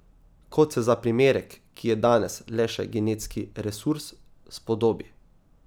Kot se za primerek, ki je danes le še genetski resurs, spodobi.